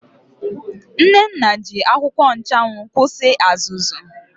Nnenna ji akwụkwọ nchụanwụ kwụsị azụzụ.